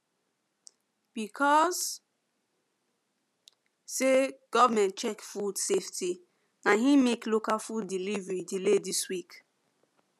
because say government check food safety na him make local food delivery delay this week